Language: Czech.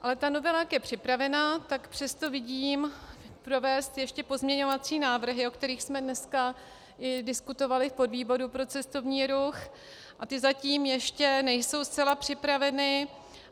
Ale ta novela, jak je připravena, tak přesto vidím provést ještě pozměňovací návrhy, o kterých jsme dneska i diskutovali v podvýboru pro cestovní ruch, a ty zatím ještě nejsou zcela připraveny.